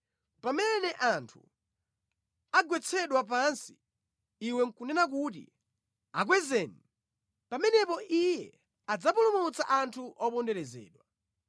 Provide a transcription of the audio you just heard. Pamene anthu agwetsedwa pansi, iwe nʼkunena kuti, ‘Akwezeni!’ Pamenepo Iye adzapulumutsa anthu oponderezedwa.